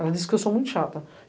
Elas disse que eu sou muito chata.